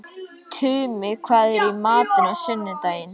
Tumi, hvað er í matinn á sunnudaginn?